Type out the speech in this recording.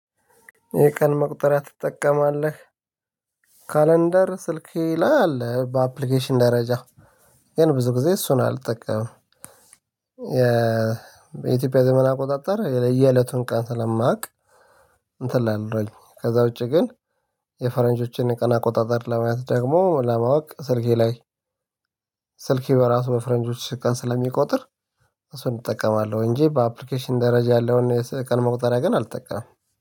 የቀን መቁጠሪያ ትጠቀማለህ? ካለንደር ስልኬ ላይ አለ በአፕሊኬሽን ደረጃ ይሄን ብዙ ጊዜ እሱን አልጠቀም። የኢትዮጵያ ዘመን አቆጣጠር የየእለቱን ቀን ስለማውቅ እንትን አይደለም ከዛ ውጪ ግን። የፈረንጆችን ቀን አቆጣጠር ለማየት ደግሞ ለማወቅ ስልኬ ላይ ስልኬ በራሱ በፍሬንጆች ስቃይ ስለሚቆጥር እሱን እጠቀማለሁ። እንጂ በአፕሊኬሽን ደረጃ ያለውን የሰቀን መቁጠሪያ ግን አልጠቀምም